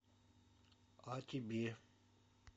а тебе